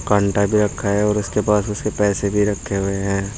कांटा भी रखा हुआ है और उसके पास उसके पैसे भी रखे हुए हैं।